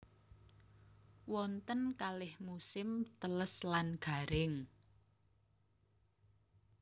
Wonten kalih musim teles lan garing